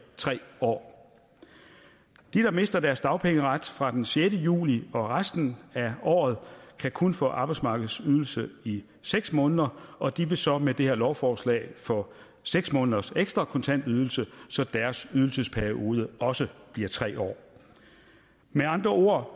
tre år de der mister deres dagpengeret fra den sjette juli og resten af året kan kun få arbejdsmarkedsydelse i seks måneder og de vil så med det her lovforslag få seks måneders ekstra kontantydelse så deres ydelsesperiode også bliver tre år med andre ord